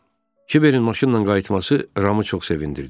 Kiberin maşınla qayıtması Ramı çox sevindirdi.